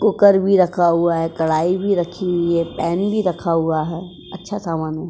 Cooker भी रखा हुआ है कढ़ाई भी रखी हुई है पैन भी रखा हुआ है। अच्छा समान है।